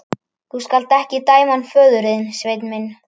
Þú skalt ekki dæma hann föður þinn, Sveinn minn.